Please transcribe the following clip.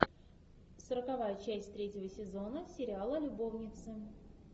сороковая часть третьего сезона сериала любовницы